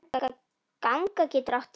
Ganga getur átt við